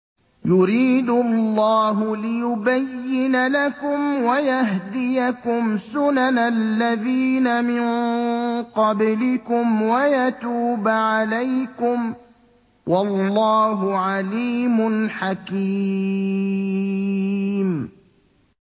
يُرِيدُ اللَّهُ لِيُبَيِّنَ لَكُمْ وَيَهْدِيَكُمْ سُنَنَ الَّذِينَ مِن قَبْلِكُمْ وَيَتُوبَ عَلَيْكُمْ ۗ وَاللَّهُ عَلِيمٌ حَكِيمٌ